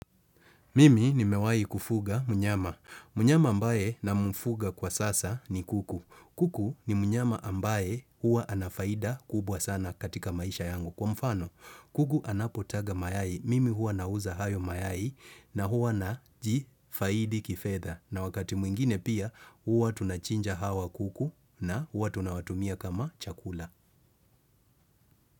Mimi nimewahi kufuga mnyama. Mnyama ambaye namfuga kwa sasa ni kuku. Kuku ni mnyama ambaye huwa ana faida kubwa sana katika maisha yangu. Kwa mfano, kuku anapotaga mayai. Mimi huwa nauza hayo mayai na huwa najifaidi kifedha. Na wakati mwingine pia, hua tunachinja hawa kuku na hua tunawatumia kama chakula.